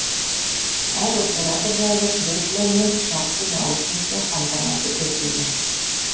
әр оператор жайлы кресло мен жақсы наушникпен қамтамасыз етілген